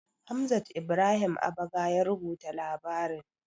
Hamzat Ibrahim Abaga ya rubuta labarin.